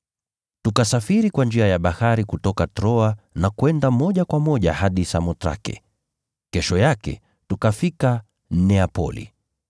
Tukasafiri kwa njia ya bahari kutoka Troa na kwenda moja kwa moja hadi Samothrake, kesho yake tukafika Neapoli.